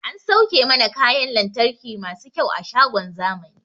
An sauke mana kayan lantarki masu kyau a shagon zamani